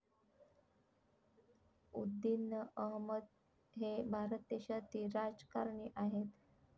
उद्दिन अहमद हे भारत देशातील राजकारणी आहेत